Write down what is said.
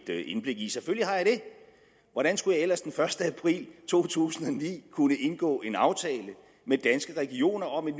indblik i selvfølgelig har jeg det hvordan skulle jeg ellers den første april to tusind og ni kunne indgå en aftale med danske regioner om et